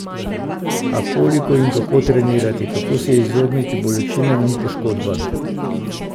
A, koliko in kako trenirati, kako se izogniti bolečinam in poškodbam?